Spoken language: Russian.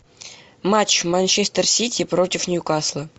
матч манчестер сити против ньюкасла